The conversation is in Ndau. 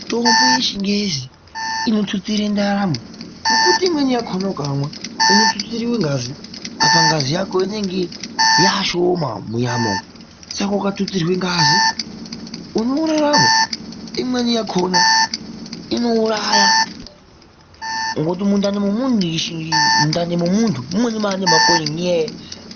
Mitombo yechingezi inotutsira ndaramo ngokuti imweni yakhona ukamwa unotutsirwa ngazi. Apa ngazi yako inenge yaashoma munyama umu, saka ukatutsirwa ngazi unorarama. Imweni yakhona inouraya, ngokuti mundani memuntu mumweni maane makonye ngenyaya